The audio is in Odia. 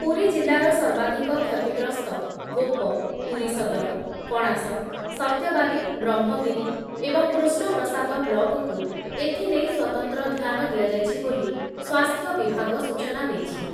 ପୁରୀ ଜିଲ୍ଲାର ସର୍ବାଧିକ କ୍ଷତିଗ୍ରସ୍ତ ଗୋପ, ପୁରୀ ସଦର, କଣାସ, ସତ୍ୟବାଦୀ, ବ୍ରହ୍ମଗିରି ଏବଂ କୃଷ୍ଣ ପ୍ରସାଦ ବ୍ଲକକୁ ଏଥିନେଇ ସ୍ଵତନ୍ତ୍ର ଧ୍ୟାନ ଦିଆଯାଇଛି ବୋଲି ସ୍ୱାସ୍ଥ୍ୟ ବିଭାଗ ସୂଚନା ଦେଇଛି